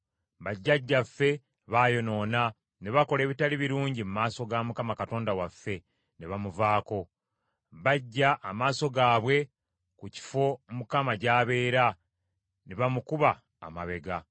Bajjajjaffe baayonoona, ne bakola ebitali birungi mu maaso ga Mukama Katonda waffe ne bamuvaako. Baggya amaaso gaabwe ku kifo Mukama gy’abeera, ne bamukuba amabega.